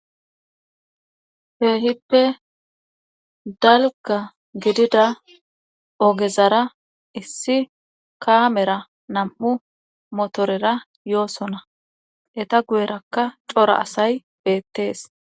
Keehippe dalga gidida ogezara issi kaamera nam'u motorera yoosona eta guyerakka cora asay beettees